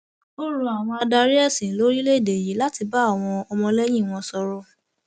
ó rọ àwọn adarí ẹsìn lórílẹèdè yìí láti bá àwọn ọmọlẹyìn wọn sọrọ